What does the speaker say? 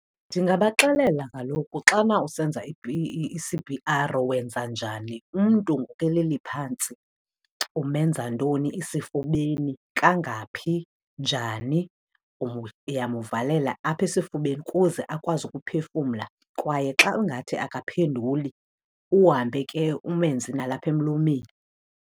Ndingabaxelela kaloku xana usenza i-C_P_R wenza njani. Umntu keleli phantsi umenza ntoni esifubeni, kangakaphi, njani. Uyamuvalela apha esifubeni ukuze akwazi ukuphefumla kwaye xa ingathi akaphenduli, uhambe ke umenze nalapha emlomeni.